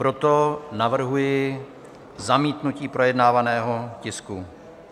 Proto navrhuji zamítnutí projednávaného tisku.